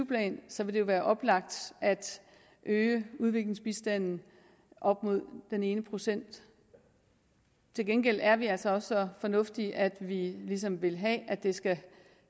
plan så vil det være oplagt at øge udviklingsbistanden op mod den ene procent til gengæld er vi altså også så fornuftige at vi ligesom vil have at det skal